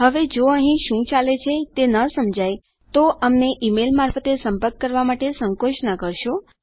હવે જો તમને અહીં શું ચાલે છે તે ન સમજાય તો અમને ઈમેલ મારફતે સંપર્ક કરવા સંકોચ ન કરશો